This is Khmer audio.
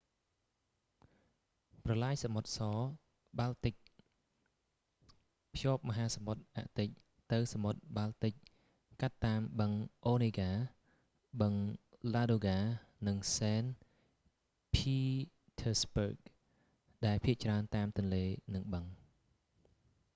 ប្រឡាយសមុទ្រស-បាល់ទិក white sea-baltic canal ភ្ជាប់មហាសមុទ្រអាកទិច ទៅសមុទ្របាល់ទិចកាត់តាមបឹងអូនេហ្កា onega បឹង ឡាដូហ្កា ladoga និង សេន ភីធើស្បឺគ saint petersburg ដែលភាគច្រើនតាមទន្លេ និងបឹង